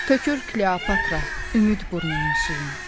Tökür Kleopatra ümid burnunun suyunu.